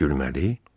Gülməli?